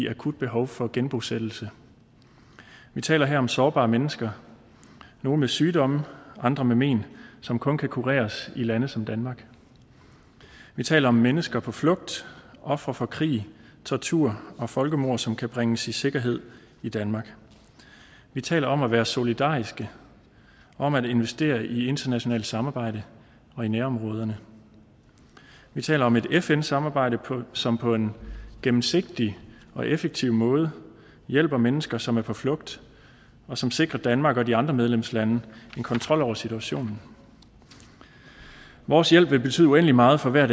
akut behov for genbosættelse vi taler her om sårbare mennesker nogle med sygdomme andre med men som kun kan kureres i lande som danmark vi taler om mennesker på flugt ofre for krig tortur og folkemord som kan bringes i sikkerhed i danmark vi taler om at være solidariske om at investere i internationalt samarbejde og i nærområderne vi taler om et fn samarbejde som på en gennemsigtig og effektiv måde hjælper mennesker som er på flugt og som sikrer danmark og de andre medlemslande en kontrol over situationen vores hjælp vil betyde uendelig meget for hver